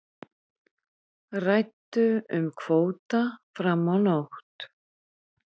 Ræddu um kvóta fram á nótt